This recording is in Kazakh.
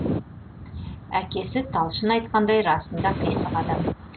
әкесі талшын айтқандай расында қисық адам